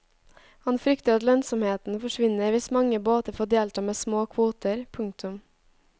Han frykter at lønnsomheten forsvinner hvis mange båter får delta med små kvoter. punktum